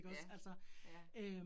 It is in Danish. Ja, ja